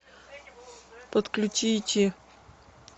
подключите